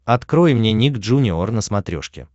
открой мне ник джуниор на смотрешке